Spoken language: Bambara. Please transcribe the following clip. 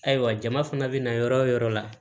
Ayiwa jama fana bina yɔrɔ o yɔrɔ la